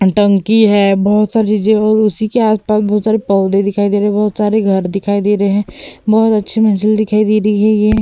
टंकी है। बहोत सारी और उसी के आस-पास बहोत सारे पौधे दिखाई दे रहे हैं। बहोत सारे घर दिखाई दे रहे हैं। बहोत अच्छी मंजिल दिखाई दे रही है। ये --